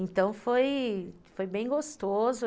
Então, foi foi bem gostoso.